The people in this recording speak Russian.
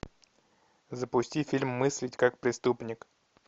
запусти фильм мыслить как преступник